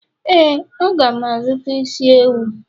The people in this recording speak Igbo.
éè, a ga m azụta isi ewu.